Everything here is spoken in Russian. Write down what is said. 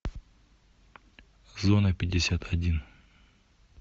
зона пятьдесят один